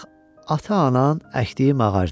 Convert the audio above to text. Bax, ata-anan əkdiyi ağacdı.